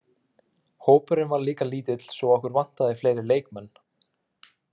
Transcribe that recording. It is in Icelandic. Hópurinn var líka lítill svo okkur vantaði fleiri leikmenn.